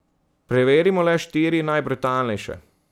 Preverimo le štiri najbrutalnejše.